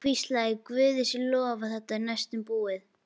Hann hvíslaði: Guði sé lof að þetta er næstum búið.